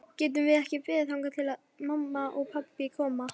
Getum við ekki beðið þangað til pabbi og mamma koma?